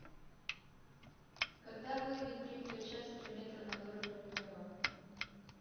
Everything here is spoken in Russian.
когда выйдет третья часть три метра над уровнем неба